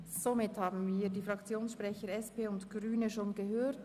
Somit haben wir die Fraktionssprecher der SPJUSO-PSA und der Grünen bereits gehört.